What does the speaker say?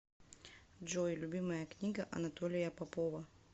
джой любимая книга анатолия попова